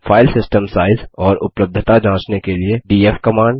file system size और उपलब्धता जाँचने के लिए डीएफ कमांड